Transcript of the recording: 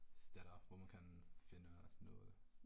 Steder hvor man kan finde noget